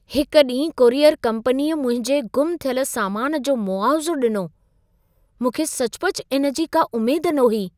हिक ॾींहुं कोरियर कंपनीअ मुंहिंजे गुमु थियल सामान जो मुआवज़ो ॾिनो, मूंखे सचुपचु इन जी का उमेद न हुई।